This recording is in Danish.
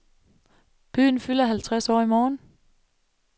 Byen fylder halvtreds år i morgen.